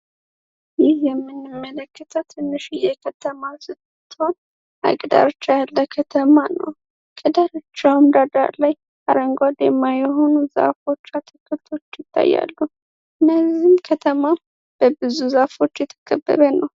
ይህ የሚንመለክተ ትንሽ እየከተማ ስቶን ሃይቅ ዳር ብቻ ያለ ከተማ ነው። ከዳርቻ ዳዳር ላይ አረንጎዴ ማየሆኑ ዛፎቻ አትክልቶች ይታያሉ። እነዚህም ከተማ በብዙ ዛፎች የተከበበ ነው።